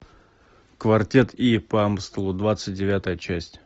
квартет и по амстелу двадцать девятая часть